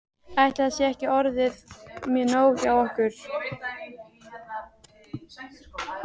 Ætli þetta sé ekki orðið nóg hjá okkur.